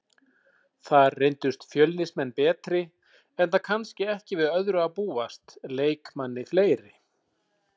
Þar reyndust Fjölnismenn betri enda kannski ekki við öðru að búast, leikmanni fleiri.